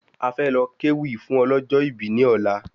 A fẹ́ lọ ké wí fún ọlọ́jọ̀ ibí ní ọ̀la